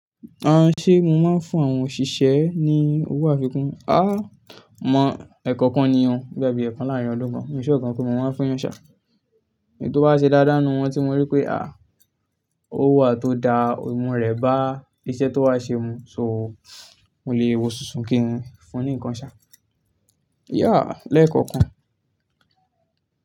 Àń, ṣé mo máa ń fún àwọn òṣìṣẹ́ ní owó àfikún? Àá, mọ̀ ẹ̀kọ̀kan ni yẹn o. Boya bíi eekan láàárín aadogbọ́n. Mi n ṣure gan pe mo máa fún èèyàn ṣà. Ètò bá ṣe dáadáa n nù wọn tí mọ rí pé ó huwa tó da, ohun rẹ̀ bá iṣẹ́ tó wá ṣe mu. So mo lè wọ ṣoṣo kí n fún ní nǹkan ṣà. Yeah, lẹ́ẹ̀kọ̀kan.